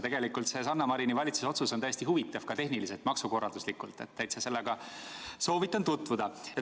Tegelikult on Sanna Marini valitsuse otsus täiesti huvitav ka tehniliselt, maksukorralduslikult, soovitan sellega tutvuda.